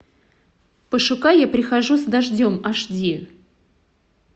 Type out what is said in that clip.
пошукай я прихожу с дождем аш ди